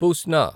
పుస్నా